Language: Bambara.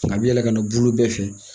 A bɛ yɛlɛ ka na bulu bɛɛ fɛ